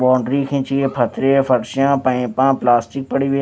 boundary खींची है पथरिया पक्षियों पाइपा प्लास्टिक पढ़ी हुई--